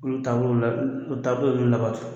Olu taabolo la o taabolo bɛ labato